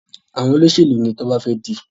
Àwọn Olóṣèlú ní Toba fè di.